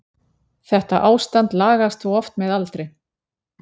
Þetta ástand lagast þó oft með aldri.